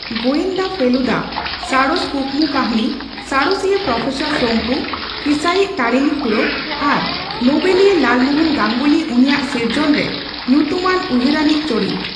ᱜᱳᱭᱮᱱᱫᱟ ᱯᱷᱮᱞᱩᱫᱟ, ᱥᱟᱬᱮᱥ ᱠᱩᱠᱢᱩᱠᱟᱹᱦᱱᱤ ᱥᱟᱬᱮᱥᱤᱭᱟ ᱯᱨᱚᱯᱷᱮᱥᱚᱨ ᱥᱚᱝᱠᱩ, ᱠᱤᱥᱟᱹᱤᱪ ᱛᱟᱨᱤᱱᱤᱠᱷᱩᱲᱳ ᱟᱨ ᱱᱳᱵᱮᱞᱤᱭᱟ ᱞᱟᱞᱢᱳᱦᱚᱱ ᱜᱟᱝᱜᱩᱞᱤ ᱩᱱᱤᱭᱟᱜ ᱥᱤᱨᱡᱚᱱᱨᱮ ᱧᱩᱛᱩᱢᱟᱱ ᱩᱭᱦᱟᱹᱨᱟᱱᱤᱪ ᱪᱚᱨᱤᱛ᱾